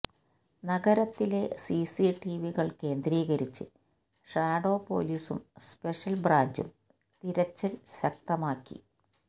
നഗരത്തിലെ സിസിടിവികള് കേന്ദ്രീകരിച്ച് ഷാഡോ പൊലീസും സ്പെഷ്യല് ബ്രാഞ്ചും തിരച്ചില് ശക്തമാക്കി